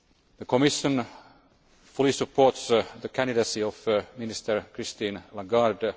The Commission fully supports the candidacy of Minister Christine Lagarde.